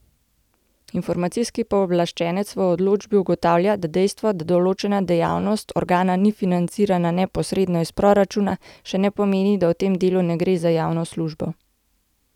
Informacijski pooblaščenec v odločbi ugotavlja, da dejstvo, da določena dejavnost organa ni financirana neposredno iz proračuna, še ne pomeni, da v tem delu ne gre za javno službo.